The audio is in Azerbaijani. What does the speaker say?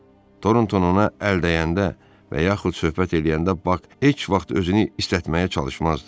Toronton ona əl dəyəndə və yaxud söhbət eləyəndə Bak heç vaxt özünü istətməyə çalışmazdı.